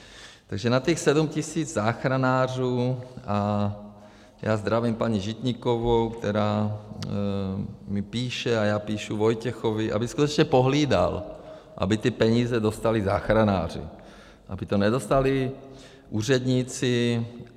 Takže na těch 7 tisíc záchranářů a já zdravím paní Žitníkovou, která mi píše, a já píšu Vojtěchovi, aby skutečně pohlídal, aby ty peníze dostali záchranáři, aby to nedostali úředníci.